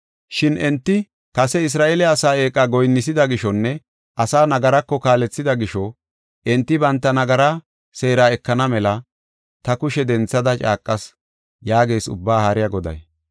Shin enti kase Isra7eele asaa eeqa goyinnisida gishonne asaa nagarako kaalethida gisho, enti banta nagaraa seera ekana mela ta kushe denthada caaqas” yaagees Ubbaa Haariya Goday.